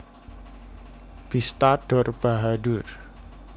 Bista Dor Bahadur